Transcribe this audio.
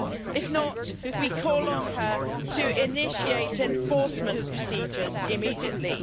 If not, we call on her to initiate enforcement procedures immediately.